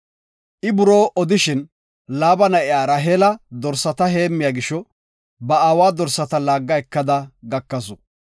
I buroo odishin, Laaba na7iya Raheela dorsata heemmiya gisho, ba aawa dorsata laagga ekada gakasu.